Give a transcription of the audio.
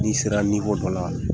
N'i sera dɔ la.